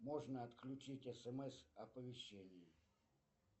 можно отключить смс оповещение